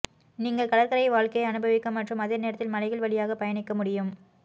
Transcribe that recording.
நீங்கள் கடற்கரை வாழ்க்கையை அனுபவிக்க மற்றும் அதே நேரத்தில் மலைகள் வழியாக பயணிக்க முடியும்